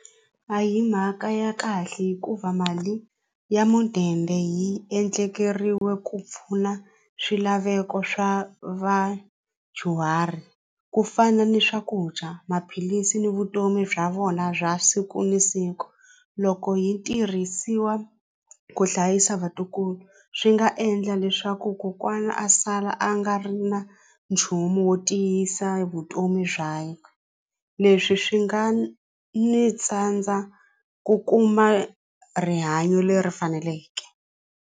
A hi mhaka ya kahle hikuva mali ya mudende yi endlekeriwe ku pfuna swilaveko swa vadyuhari ku fana ni swakudya maphilisi ni vutomi bya vona bya siku na siku loko yi tirhisiwa ku hlayisa vatukulu swi nga endla leswaku kokwana a sala a nga ri na nchumu wo tiyisa vutomi bya leswi swi nga ni tsandza ku kuma rihanyo leri faneleke.